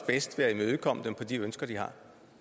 bedst ved at imødekomme dem til de ønsker de har